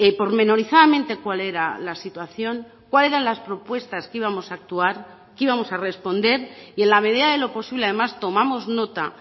pormenorizadamente cuál era la situación cuál eran las propuestas que íbamos a actuar que íbamos a responder y en la medida de lo posible además tomamos nota